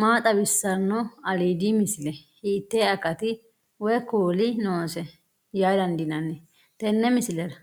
maa xawissanno aliidi misile ? hiitto akati woy kuuli noose yaa dandiinanni tenne misilera?